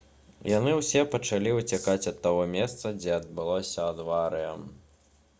яны ўсе пачалі ўцякаць ад таго месца дзе адбылася аварыя